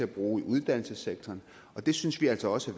bruge i uddannelsessektoren og det synes vi altså også